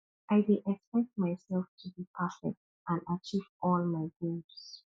i dey expect myself to be perfect and achieve all my goals